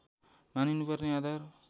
मानिनुपर्ने आधार